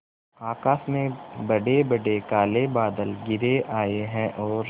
आकाश में बड़ेबड़े काले बादल घिर आए हैं और